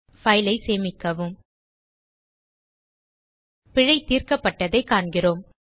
file ஐ சேமிக்கவும் பிழை தீர்க்கப்பட்டதைக் காண்கிறோம்